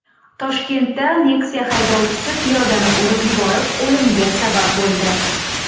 Toshkentda Nexia haydovchisi piyodani urib yuborib, o‘limiga sabab bo‘ldi.